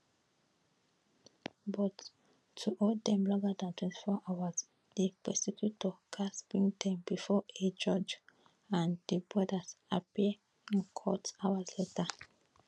but to hold dem longer dan 24 hours di prosecutors gatz bring dem bifor a judge and di brothers appear in court hours later